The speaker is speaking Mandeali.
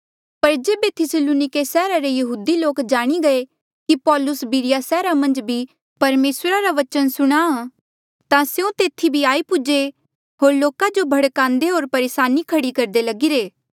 पर जेबे थिस्सलुनिके सैहरा रे यहूदी लोक जाणी गये कि पौलुस बिरिया सैहरा मन्झ भी परमेसरा रा बचन सुणाहां ता स्यों तेथी भी आई पूजे होर लोका जो भड़कान्दे होर परेसानी खड़ी करदे लगीरे